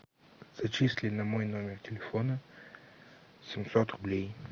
зачисли на мой номер телефона семьсот рублей